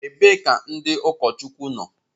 Ebee ka ndị ụkọchukwu nọ?